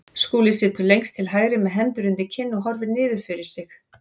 Skúli situr lengst til hægri með hendur undir kinn og horfir niður fyrir sig.